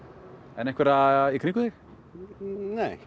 en einhvern í kringum þig nei